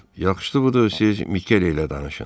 Yaxşısı budur, siz Mikele ilə danışın.